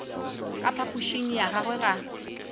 ka phapošing ya gagwe ga